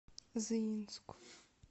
заинску